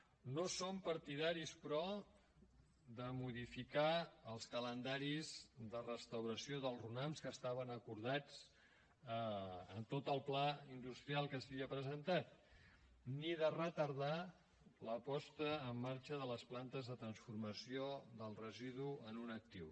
no som partidaris però de modificar els calendaris de restauració dels runams que estaven acordats en tot el pla industrial que s’havia presentat ni de retardar la posada en marxa de les plantes de transformació del residu en un actiu